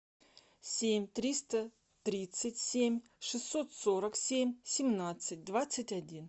семь триста тридцать семь шестьсот сорок семь семнадцать двадцать один